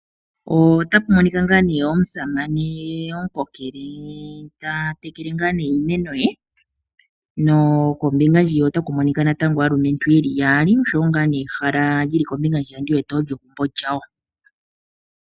Otapumonika ngaa nee omusamane omukokele tatekele ngaa ne iimeno ye, nokombinga ndjiya otakumonika natango aaluntu yeli yaali oshowo ngaa ne ehala lyili kombinga hwiya ondiwete olyo egumbo lyaandjawo.